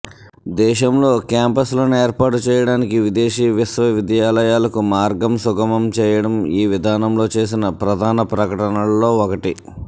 దేశంలో క్యాంపస్లను ఏర్పాటు చేయడానికి విదేశీ విశ్వవిద్యాలయాలకు మార్గం సుగమం చేయడం ఈ విధానంలో చేసిన ప్రధాన ప్రకటనలలో ఒకటి